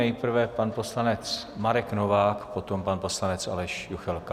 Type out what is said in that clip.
Nejprve pan poslanec Marek Novák, potom pan poslanec Aleš Juchelka.